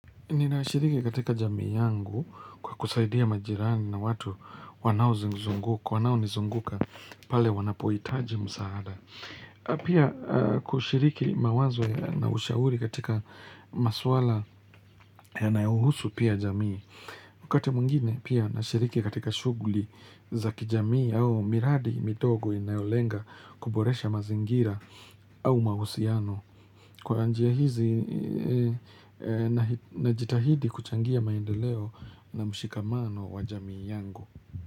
Ninashiriki katika jamii yangu kwa kusaidia majirani na watu wanao zinguzunguka, wanao nizunguka pale wanapoitaji msaada. Pia kushiriki mawazo na ushauri katika maswala yanayohusu pia jamii. Wakati mwingine pia nashiriki katika shuguli za kijamii au miradi midogo inayolenga kuboresha mazingira au mahusiano. Kwa njia hizi najitahidi kuchangia maendeleo na mshikamano wa jamii yangu.